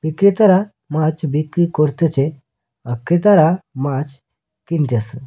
বিক্রেতারা মাছ বিক্রি করতেছে আর ক্রেতারা মাছ কিনতাসে।